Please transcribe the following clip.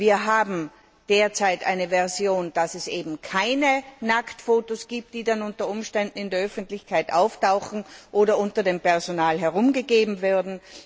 Wir haben derzeit eine Version, mit der sichergestellt ist, dass es keine Nacktfotos gibt, die dann unter Umständen in der Öffentlichkeit auftauchen oder unter dem Personal herumgegeben werden.